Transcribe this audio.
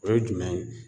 O ye jumɛn ye